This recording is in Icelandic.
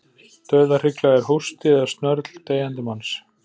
Dauðahrygla er hósti eða snörl deyjandi manns.